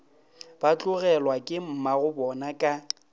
ba tlogelwa ke mmagobona ka